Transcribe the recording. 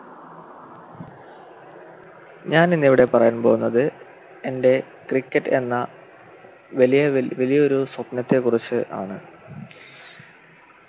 ഞാനിന്നിവിടെ പറയാൻ പോകുന്നത് എൻ്റെ Cricket എന്ന വലിയ വലി വലിയൊരു സ്വപ്നത്തെക്കുറിച്ച് ആണ്